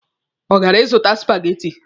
Ọ gara ịzụta supageti.